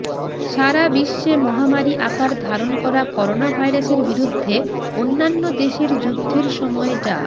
সারা বিশ্বে মহমারি আকার ধারণ করা করোনাভাইরাসের বিরুদ্ধে অন্যান্য দেশের যুদ্ধের সময় ডা